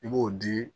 I b'o di